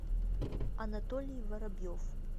анатолий воробьев